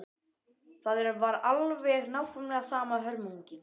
Það var alveg nákvæmlega sama hörmungin.